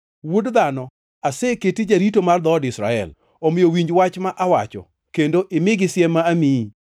Wuod dhano, aseketi jarito mar dhood Israel, omiyo winj wach ma awacho, kendo imigi siem ma amiyi.